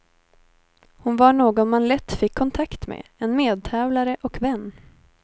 Hon var någon man lätt fick kontakt med, en medtävlare och vän.